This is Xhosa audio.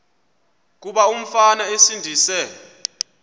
kuba umfana esindise